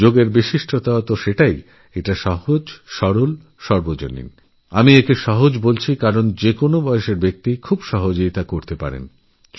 যোগের বৈশিষ্ট্যই হল তা অত্যন্ত সহজ এবং সহজ বলেই আমি বলছি যেকোনো বয়সের মানুষই স্বচ্ছন্দে যোগাভ্যাস করতে পারেন